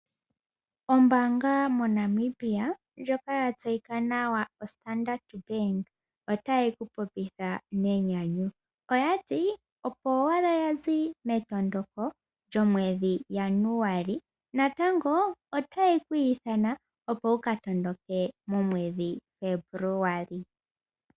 Ombaanga moNamibia ndjoka ya tseyika nawa oStandard Bank otaye kupopitha nenyanyu. Oyati opo owala yazi metondoko lyomwedhi Januali natango otaye kwiithana opo wu katondoke momwedhi Febuluali.